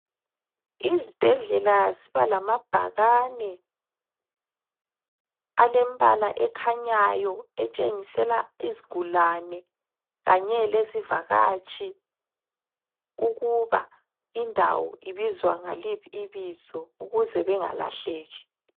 lzibhedlela zibalamabhakane alembala ekhanyayo etshengisela izigulane kanye lezivakatshi ukuba indawo ibizwa ngaliphi ibizo ukuze bengalahleki.